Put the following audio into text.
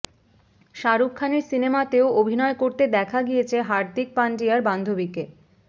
শাহরুখ খানের সিনেমাতেও অভিনয় করতে দেখা গিয়েছে হার্দিক পান্ডিয়ার বান্ধবীকে